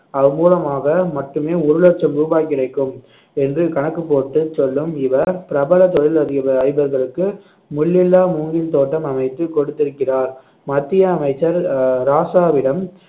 அது மூலமாக மட்டுமே ஒரு லட்சம் ரூபாய் கிடைக்கும் என்று கணக்கு போட்டு சொல்லும் இவர் பிரபல தொழிலதிப~ அதிபர்களுக்கு முள் இல்லா மூங்கில் தோட்டம் அமைத்து கொடுத்திருக்கிறார் மத்திய அமைச்சர் அஹ் ராசாவிடம்